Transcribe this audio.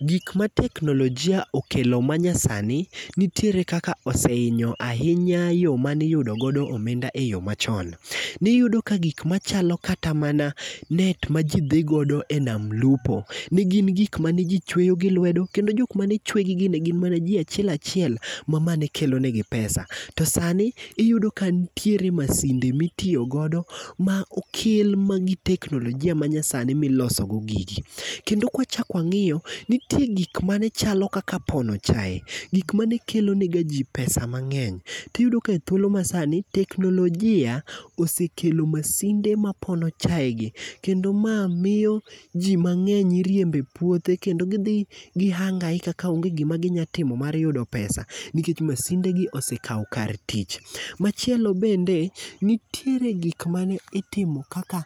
Gik ma teknolojia okelo ma nyasani nitiere kaka osehinyo ahinya yo mane iyudogo omenda e yo machon. Niyudo ka gik machalo kata mana net ma ji dhi godo e nam lupo, negin gik mane ji chweyo gi lwedo, kendo jok mane chwegigi, ne gin mana ji achiel achiel ma, ma ne kelo negi pesa. To sani, iyudo ka nitiere masinde mitiyo godo ma okel ma gi teknolojia ma nyasani milosogo gigi. Kendo kwachak wangíyo, nitie gik mane chalo kaka pono chae, gik mane kelonegaji pesa mangény, tiyudo ka ethuolo masani, teknolojia osekelo masinde mapono chae gi, kendo mae miyo ji mangény iriembo e puothe, kendo gidhi gihangaika ka onge gima ginyalo timo mar yudo pesa, nikech masind gi osekao kar tich. Machielo bende, nitiere gik mane itimo kaka